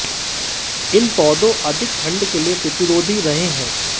इन पौधों अधिक ठंढ के लिए प्रतिरोधी रहे हैं